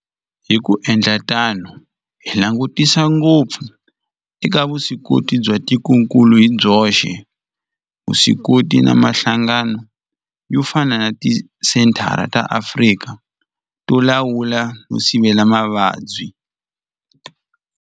Hi ku endla tano hi langutisa ngopfu eka vuswikoti bya tikokulu hi byoxe, vuswikoti na mihlangano yo fana na Tisenthara ta Afrika to Lawula no Sivela Mavabyi.